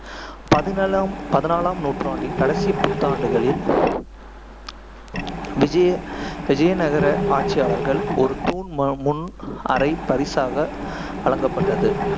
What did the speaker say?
பதினலம் பதினாலாம் நூற்றாண்டின் கடைசிப் பத்தாண்டுகளில், விஜயநகர ஆட்சியாளர்கள் ஒரு தூண் ம~ முன் அறை பரிசாக வழங்கப்பட்டது.